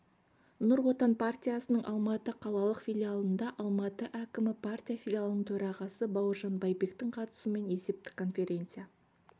нұр отан партиясының алматы қалалық филиалында алматы әкімі партия филиалының төрағасы бауыржан байбектің қатысуымен есептік конференция